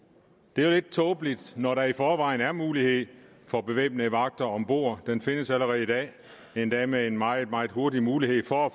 det er jo lidt tåbeligt når der i forvejen er mulighed for bevæbnede vagter om bord den findes allerede i dag endda med en meget meget hurtig mulighed for at